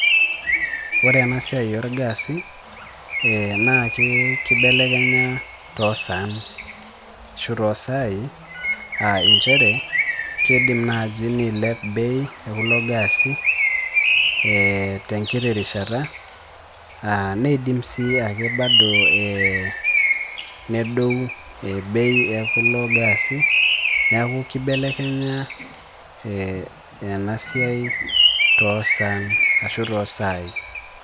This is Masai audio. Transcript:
Ore ena siai orgaasi na kibelekenya too saai nchere kiidim naaji niilep bei ekulo gaasi ee tenkiti rishata aa niidim sii ake bado ee nedou bei ekulo gaasi neeku kibelekenya ee ena siai toosan aashu too saai.